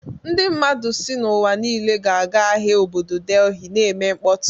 Ndị mmadụ si n'ụwa niile ga-aga ahịa obodo Delhi na-eme mkpọtụ.